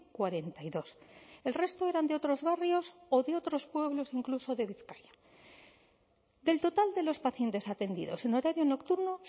cuarenta y dos el resto eran de otros barrios o de otros pueblos incluso de bizkaia del total de los pacientes atendidos en horario nocturno